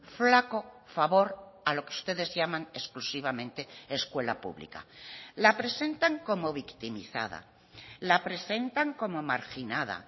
flaco favor a lo que ustedes llaman exclusivamente escuela pública la presentan como victimizada la presentan como marginada